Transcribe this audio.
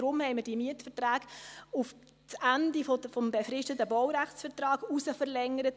Daher haben wir die Mietverträge auf das Ende des befristeten Baurechtsvertrags verlängert.